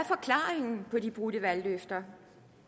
hvad de brudte valgløfter